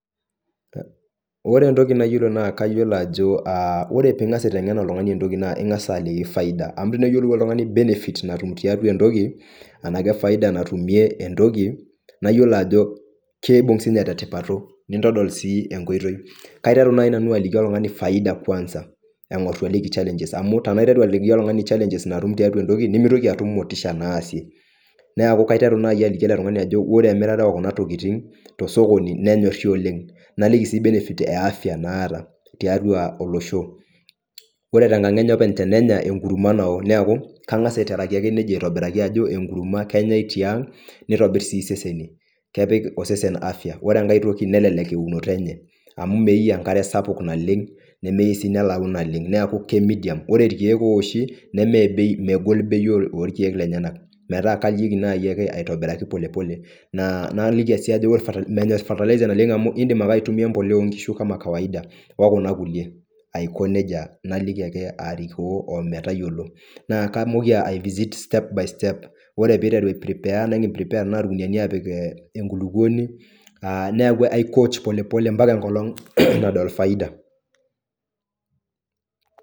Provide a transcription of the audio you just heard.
Ore entoki naa kayolo ajo aa, ore piing'asa aiteng'en oltung'ani entoki naa ing'asa aliki cs[faida]cs amuu teneyolou oltung'ani cs[benefit]cs natum tiatua entoki enake cs[faidi]cs natumie entoki naiyolo ajo kiibung' inye tetipato nindodol sii enkoitoi, kaiteru nai nanu aliki oltung'ani cs[faida kwanza]cs engor itu aliki cs[challenges]cs amuu tenaiteru aliki oltung'ani cs[challenges]cs naatum tiatua entoki nemeitoki atum motisha naasie neeku, kaituru nai aliki ele tung'ani ajo ore emirata ookuna tokiting' tosokoni nenyorri oleng' naliki sii cs[benefit]cs eafya naata tiatua olosho ore kenkang' enye tenenya enkurma nao, neeku kang'asa aiterai ake nejia aitobiraki ajo enkurma ake enyai tiang' nitobirr sii iseseni kepik osesen cs[afya]cs ore enkae toki nelelek eunoto enye amuu meyeu enkare sapuk naleng' nemeyeu sii nelau naleng' neeku cs[medium]cs ore irkiek ooshi nemedei megol bei orkiek lenyana metaa kaliki nai ake aitobiraki polepole naa naaliki sii ajo ore menyorr cs[fertilizer]cs naleng' iindim ake aitumia empolea oonkishu cs[kama kawaida]cs okuna kulie aiko nejia, naliki ake arikoo ometayolo naa kaamoki ai cs[visit step by step]cs ore piiteru ai cs[prepare]cs nikiprepea tenaa irkuniani tenaapik enkulukuoni aaa, neeku aikoch polepole ampaka enkolong' nadol faida.